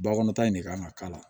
Bakɔnɔ ta in de kan ka k'a la